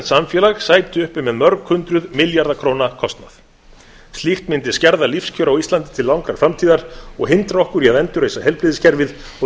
samfélag sæti uppi með mörg hundruð milljarða króna kostnað slíkt mundi skerða lífskjör á íslandi til langrar framtíðar og hindra okkur í að endurreisa heilbrigðiskerfið og